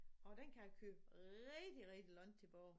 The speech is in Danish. Og den kan jeg kører rigtig rigtig langt tilbage